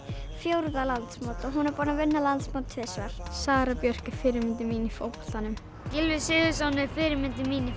fjórða landsmót og hún er búin að vinna landsmót tvisvar Sara Björk er fyrirmyndin mín í fótboltanum Gylfi Sigurðsson er fyrirmyndin mín í